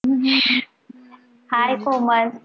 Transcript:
hi Komal